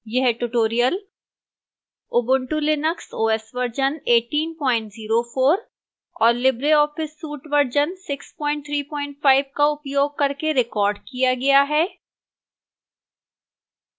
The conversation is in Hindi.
यह tutorial ubuntu linux os version 1804 और libreoffice suite वर्जन 635 का उपयोग करके recorded किया गया है